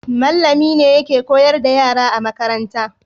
Mallami ne yake koyar da yara a makaranta